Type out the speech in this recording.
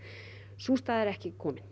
sú staða er ekki komin